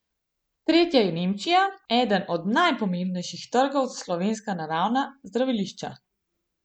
Tretja je Nemčija, eden najpomembnejših trgov za slovenska naravna zdravilišča.